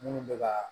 Minnu bɛ ka